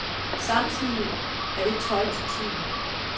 Samtidig er det tøj til tiden.